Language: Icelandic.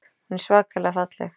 Hún er svakalega falleg.